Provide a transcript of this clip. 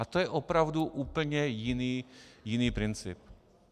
A to je opravdu úplně jiný princip.